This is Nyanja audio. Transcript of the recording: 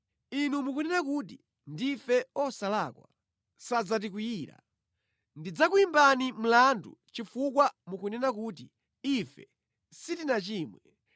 inu mukunena kuti, ‘Ndife osalakwa, sadzatikwiyira.’ Ndidzakuyimbani mlandu chifukwa mukunena kuti, ‘Ife sitinachimwe.’